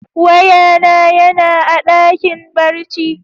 Waya na ya na a dakin barci.